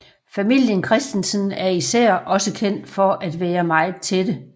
Familien Christensen er især også kendt for at være meget tætte